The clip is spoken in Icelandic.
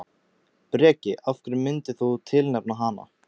Breki: Af hverju myndir þú tilnefna hana?